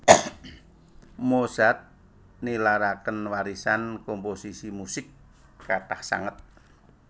Mozart nilaraken warisan komposisi musik kathah sanget